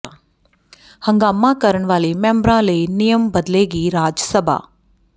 ਹੰਗਾਮਾ ਕਰਨ ਵਾਲੇ ਮੈਂਬਰਾਂ ਲਈ ਨਿਯਮ ਬਦਲੇਗੀ ਰਾਜ ਸਭਾ